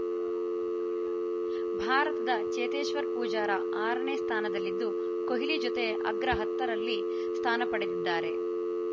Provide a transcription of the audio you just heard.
ಭಾರತದ ಚೇತೇಶ್ವರ್‌ ಪೂಜಾರ ಆರನೇ ಸ್ಥಾನದಲ್ಲಿದ್ದು ಕೊಹ್ಲಿ ಜತೆ ಅಗ್ರ ಹತ್ತರಲ್ಲಿ ಸ್ಥಾನ ಪಡೆದಿದ್ದಾರೆ